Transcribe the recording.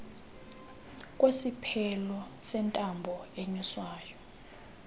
kwesiphelo sentambo enyuswayo